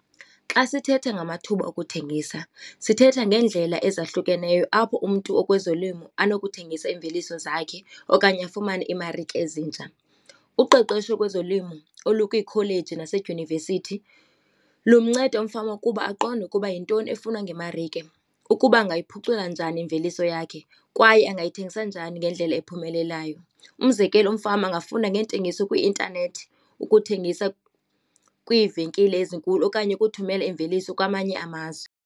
Xa sithetha ngamathuba okuthengisa sithetha ngeendlela ezahlukeneyo apho umntu okwezolimo anokuthengisa iimveliso zakhe okanye afumane iimarike ezintsha. Uqeqesho kwezolimo olukwiikholeji yasedyunivesithi lunceda umfama ukuba aqonde ukuba yintoni efunwa ngemarike, ukuba angayiphucula njani imveliso yakhe kwaye angayithengesa njani ngendlela ephumelelayo. Umzekelo, umfama angafunda neentengiso kwi-intanethi ukuthengisa kwiivenkile ezinkulu okanye ukuthumela imveliso kwamanye amazwe.